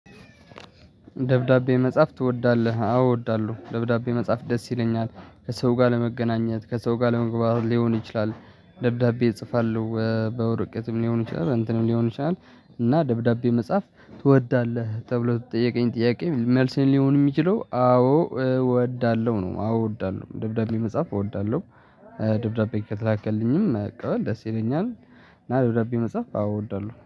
ደብዳቤ መጻፍ ትወዳለህ አዎ እወዳለሁ ደብዳቤ መጻፍ ደስ ይለኛል ከሰው ጋር ለመገናኘት ከሰው ጋር ለመግባባት ሊሆን ይችላል ደብዳቤ እጽፋለሁ በወረቀትም ሊሆን ይችላል እንትን ሊሆን ይችላል እና ደብዳቤ መጻፍ ትወዳለህ ተብሎ ትጠየቀኝ ጥያቄ መልሴን ሊሆን የሚችለው አዎ እወዳለሁ ነው አዎ እወዳለሁ ደብዳቤ መጻፍ እወዳለሁ ደብዳቤ ከተላከልኝም መቀበል ደስ ይለኛል ና ደብዳቤ መጽሐፍ እወዳለሁ።